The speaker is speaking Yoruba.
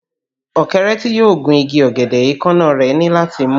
Ọ̀kẹ́rẹ́ tí yóò gun igi ọ̀gẹ̀dẹ̀, èékánná rẹ̀ ní láti mú